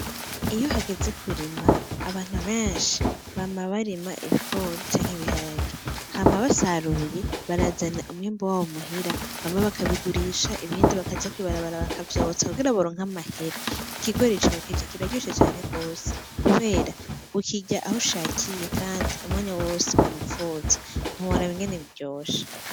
Iyo hageze kurima, abantu benshi bama barima ibigori canke ibiharage, hama basaruye barazana umwimbu wabo muhira, bamwe bakabigurisha ibindi bakaja kwibarabara bakavyotsa kugira baronke amahera, ikigori cokeje biraryoshe cane gose kubera ukirya aho ushakakiye kandi umwanya wose wipfuza, ntiworaba ingene biryoshe.